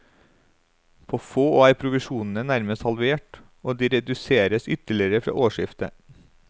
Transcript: På få år er provisjonene nærmest halvert, og de reduseres ytterligere fra årsskiftet.